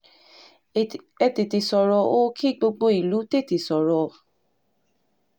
ẹ tètè sọ̀rọ̀ o kí gbogbo ìlú tètè sọ̀rọ̀